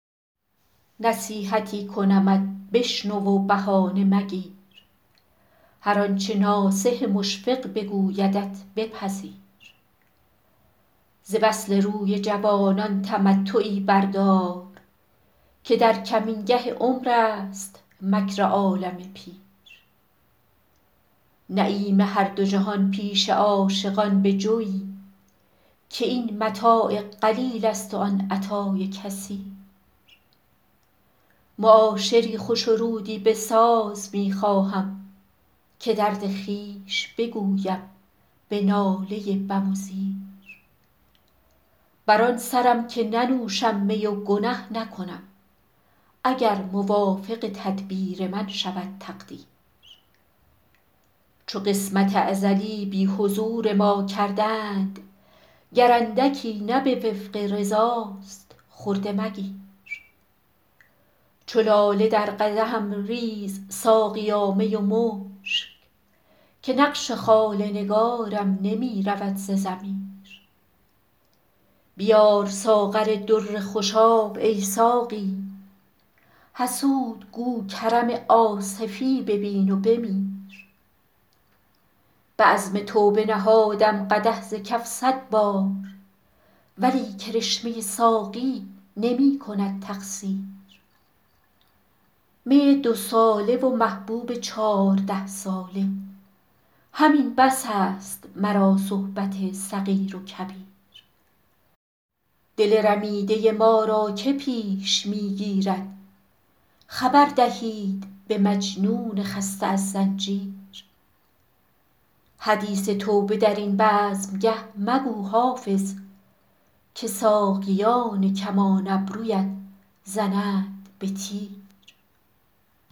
نصیحتی کنمت بشنو و بهانه مگیر هر آنچه ناصح مشفق بگویدت بپذیر ز وصل روی جوانان تمتعی بردار که در کمینگه عمر است مکر عالم پیر نعیم هر دو جهان پیش عاشقان بجوی که این متاع قلیل است و آن عطای کثیر معاشری خوش و رودی بساز می خواهم که درد خویش بگویم به ناله بم و زیر بر آن سرم که ننوشم می و گنه نکنم اگر موافق تدبیر من شود تقدیر چو قسمت ازلی بی حضور ما کردند گر اندکی نه به وفق رضاست خرده مگیر چو لاله در قدحم ریز ساقیا می و مشک که نقش خال نگارم نمی رود ز ضمیر بیار ساغر در خوشاب ای ساقی حسود گو کرم آصفی ببین و بمیر به عزم توبه نهادم قدح ز کف صد بار ولی کرشمه ساقی نمی کند تقصیر می دوساله و محبوب چارده ساله همین بس است مرا صحبت صغیر و کبیر دل رمیده ما را که پیش می گیرد خبر دهید به مجنون خسته از زنجیر حدیث توبه در این بزمگه مگو حافظ که ساقیان کمان ابرویت زنند به تیر